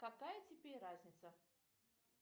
какая тебе разница